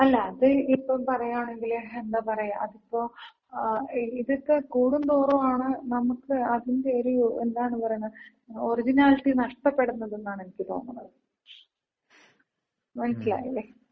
അല്ല, അത് ഇപ്പൊ പറയാണെങ്കില്, എന്താ പറയാ അതിപ്പോ ഇതൊക്ക കൂടും തോറുമാണ് നമുക്ക് അതിന്‍റെ ഒര് എന്താണ് പറയണ ഒറിജിനാലിറ്റി നഷ്ടപെടുന്നതാണെന്നാണ് എനിക്ക് തോന്നണത്. മനസിലായില്ലേ?